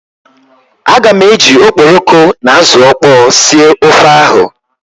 Aga m eji okporoko na azụ ọkpọọ sie ofe ahụ.